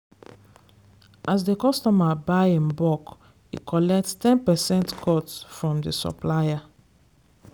as the customer buy in bulk e collect ten percent cut from di supplier.